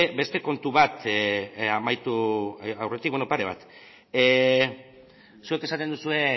beste kontu bat amaitu aurretik beno pare bat zuek esaten duzue